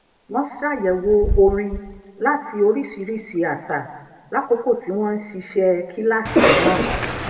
wón ṣàyèwò orin láti oríṣiríṣi àṣà lákòókò tí wón ń ṣiṣẹ kíláàsì náà